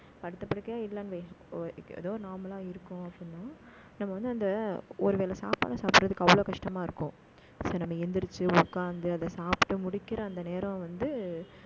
படுத்த படுக்கையா இல்லைன்னு ஏதோ, normal ஆ இருக்கும் அப்படின்னா நம்ம வந்து, அந்த ஒருவேளை சாப்பிட, சாப்பிடுறதுக்கு, அவ்வளவு கஷ்டமா இருக்கும் so நம்ம எந்திரிச்சு உட்கார்ந்து அதை சாப்பிட்டு முடிக்கிற, அந்த நேரம் வந்து